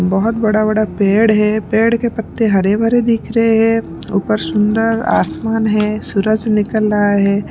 बहुत बड़ा बड़ा पेड़ है पेड़ के पत्ते हरे भरे दिख रहे हैं ऊपर सुंदर आसमान है सूरज निकल रहा है।